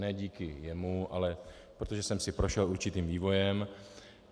Ne díky jemu, ale protože jsem si prošel určitým vývojem.